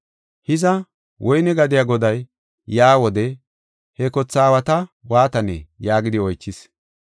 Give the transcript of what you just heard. “Hiza, woyne gadiya goday yaa wode he kothe aawata waatanee?” yaagidi oychis.